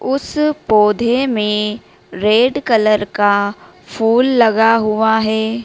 उस पौधे में रेड कलर का फूल लगा हुआ है।